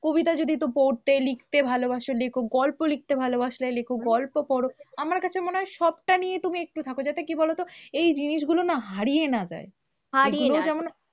কবিতা যদি একটু পড়তে লিখতে ভালোবাসো লেখো, গল্প লিখতে ভালোবাসলে লেখো, গল্প পড়ো, আমার কাছে মনে হয় সবটা নিয়ে তুমি একটু থাকো, যাতে কি বলো তো? এই জিনিসগুলো না হারিয়ে না যায়, হারিয়ে না যায়।